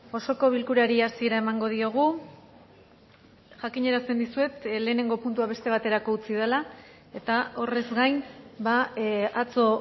osoko bilkurari hasiera emango diogu jakinarazten dizuet lehenengo puntua beste baterako utzi dela eta horrez gain atzo